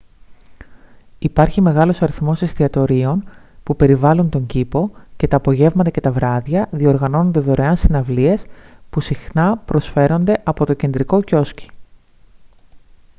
υπάρχει μεγάλος αριθμός εστιατορίων που περιβάλλουν τον κήπο και τα απογεύματα και τα βράδια διοργανώνονται δωρεάν συναυλίες που συχνά προσφέρονται από το κεντρικό κιόσκι